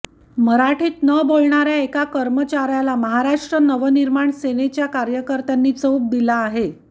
मराठीत न बोलणाऱ्या एका कर्मचाऱ्याला महाराष्ट्र नवनिर्माण सेनेच्या कार्यकर्त्यांनी चोप दिला आहे